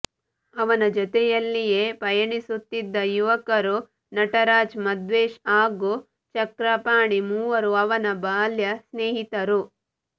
ಅವನ ಜೊತೆಯಲ್ಲಿಯೆ ಪಯಣಿಸುತ್ತಿದ್ದ ಯುವಕರು ನಟರಾಜ್ ಮದ್ವೇಶ್ ಹಾಗು ಚಕ್ರಪಾಣಿ ಮೂವರು ಅವನ ಬಾಲ್ಯಸ್ನೇಹಿತರು